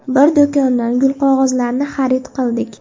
Bir do‘kondan gulqog‘ozlarni xarid qildik.